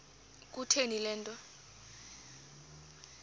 kutheni le nto